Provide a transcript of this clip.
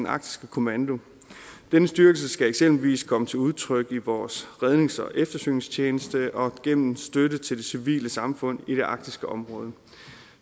arktisk kommando denne styrkelse skal eksempelvis komme til udtryk i vores rednings og eftersøgningstjeneste og gennem støtte til det civile samfund i det arktiske område